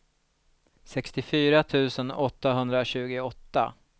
sextiofyra tusen åttahundratjugoåtta